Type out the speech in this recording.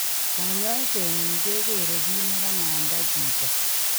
Konyoisenyin kegere kit ne kanamda chito.